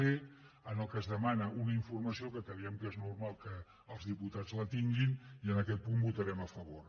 c en què es demana una informació que creiem que és normal que els diputats la tinguin i en aquest punt votarem a favor